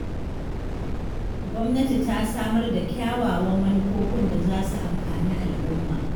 Gwamnati ta samar da kyawawan manufofin da za su amfani al'umma.